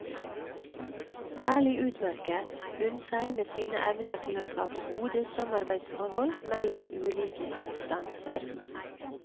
Særlig utmerket hun seg med sine evner til å skape gode samarbeidsforhold mellom ulike instanser.